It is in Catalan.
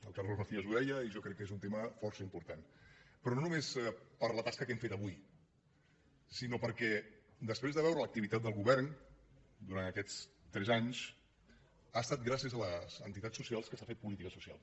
el carlos macías ho deia i jo crec que és un tema força important però no només per la tasca que hem fet avui sinó perquè després de veure l’activitat del govern durant aquests tres anys ha estat gràcies a les entitats socials que s’ha fet política social